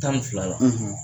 tan ni fila la.